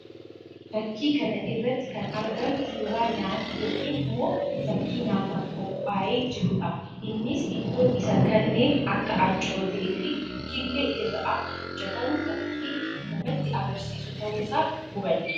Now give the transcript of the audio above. Fakkii kana irratti kan argamu suuraa nyaataa yookiin immoo fakkii nyaataaf qophaahee jiruu dha. Innis ittoon isaa kanneen akka ancootee fi killee irraa akka hojjetamu fakkii namatti agarsiisu tahuu isaa hubanna.